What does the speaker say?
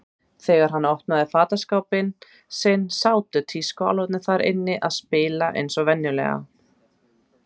Þegar hann opnaði fataskápinn sinn sátu tískuálfarnir þar inni að spila eins og venjulega.